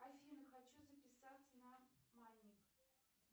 афина хочу записаться на маник